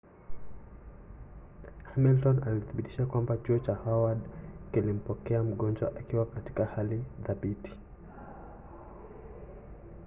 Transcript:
hamilton alithibitisha kwamba chuo cha howard kilimpokea mgonjwa akiwa katika hali thabiti